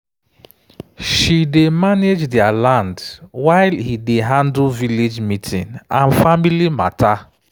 she dey manage their land while he dey handle village meeting and family matter.